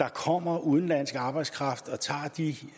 der kommer udenlandsk arbejdskraft og tager de